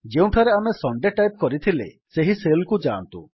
ଯେଉଁଠାରେ ଆମେ Sunday type କରିଥିଲେ ସେହି ସେଲ୍ କୁ ଯାଆନ୍ତୁ